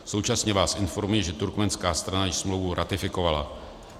Současně vás informuji, že turkmenská strana již smlouvu ratifikovala.